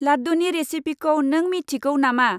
लाद्दुनि रेसिपिखौ नों मिथिगौ नामा?